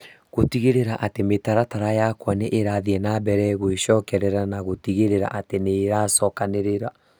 gũtigĩrĩra atĩ mĩtaratara yakwa nĩ ĩrathiĩ na mbere gwecokerera na gũtigĩrĩra atĩ nĩ iracokanĩrĩra